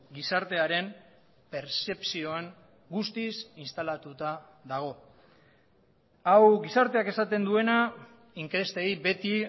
gizartearen pertzepzioan guztiz instalatuta dago hau gizarteak esaten duena inkestei beti